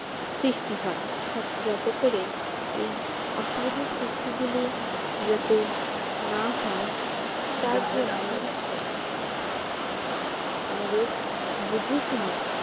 সৃষ্টি হয় যাতে করে এই অসুবিধার সৃষ্টি গুলি যাতে না হয় তার জন্য আমাদের বুঝেশুনে